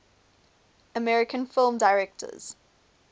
american film directors